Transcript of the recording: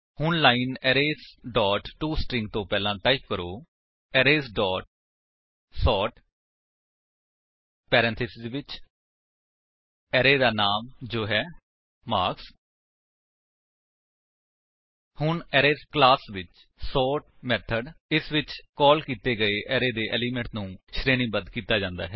ਹੁਣ line arrays dot to string ਤੋ ਪਹਿਲਾਂ ਟਾਈਪ ਕਰੋ ਅਰੇਜ਼ ਡੋਟ ਸੋਰਟ ਪੈਰੇਂਥੇਸਿਸ ਵਿੱਚ ਅਰੇ ਦਾ ਨਾਮ ਜੋ ਹੈ ਮਾਰਕਸ ਹੁਣ ਅਰੇਜ਼ ਕਲਾਸ ਵਿੱਚ ਸੋਰਟ ਮੇਥਡ ਇਸ ਵਿੱਚ ਕਾਲ ਕੀਤੇ ਗਏ ਅਰੇ ਦੇ ਏਲਿਮੇਂਟਸ ਨੂੰ ਸ਼ਰੇਣੀਬੱਧ ਕਰਦਾ ਹੈ